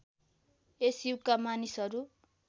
यस युगका मानिसहरू